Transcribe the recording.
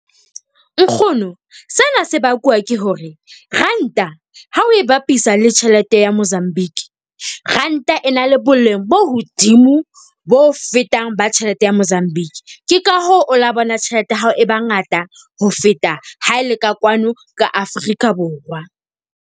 Nkgono, sena se bakuwa ke hore ranta ha o e bapisa le tjhelete ya Mozambique. Ranta e na le boleng bo hodimo bo fetang ba tjhelete ya Mozambique. Ke ka hoo o la bona tjhelete ya hao e bangata ho feta ha e le ka kwano ka Afrika Borwa.